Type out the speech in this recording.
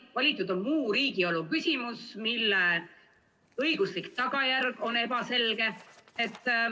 Valitud on muu riigielu küsimus, mille õiguslik tagajärg on ebaselge.